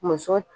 Muso